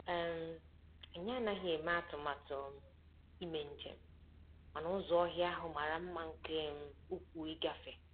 um Anyị anaghị eme atụmatụ um ime njem, mana ụzọ ọhịa ahụ mara mma nke um ukwuu ịgafe.